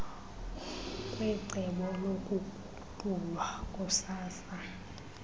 kwecebo lokuguqulwa kukasaa